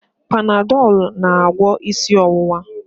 Panadọl na-agwọ isi ọwụwa